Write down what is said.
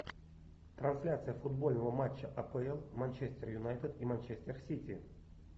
трансляция футбольного матча апл манчестер юнайтед и манчестер сити